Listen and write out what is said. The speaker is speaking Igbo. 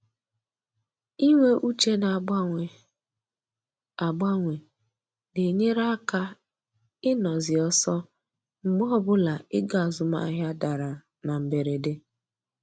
Inwe uche na-agbanwe agbanwe na-enyere aka ịnọ zi ọsọ mgbe ọbụla ego azụmahịa dara na mberede